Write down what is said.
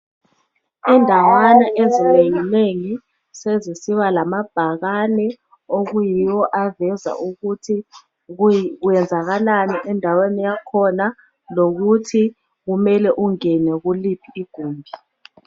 Indawana ezinengi nengi sezisiba lamabhakane okuyiwo aveza ukuthi kwenzakalani endaweni yakhona lokuthi kumele ungene kuliphi igumbi.